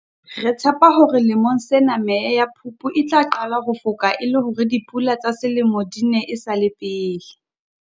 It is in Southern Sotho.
Re tshepa hore lemong sena meya ya Phupu e tla qala ho foka e le hore dipula tsa Selemo di ne e sa le pele.